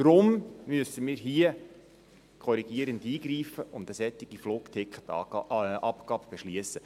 Darum müssen wir korrigierend eingreifen und eine solche Flugticketabgabe beschliessen.